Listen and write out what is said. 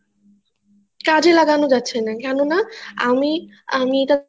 কাজে লাগানো যাচ্ছে না কেননা আমি আমি এটা